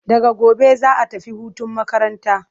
Daga gobe za'a tafi hutun makaranta.